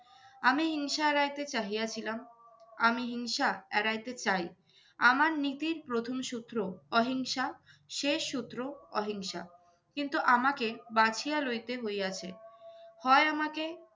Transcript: আমি হিংসা এড়াইতে চাহিয়াছিলাম, আমি হিংসা এড়াইতে চাই। আমার নীতির প্রথম সূত্র অহিংসা, শেষ সূত্র অহিংসা। কিন্তু আমাকে বাছিয়া লইতে হইয়াছে, হয় আমাকে